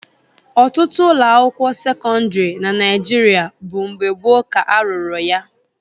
Ọtụtụ ụlọakwụkwọ sekọndịrị na Naịjirịa bụ mgbe gboo ka a rụrụ ya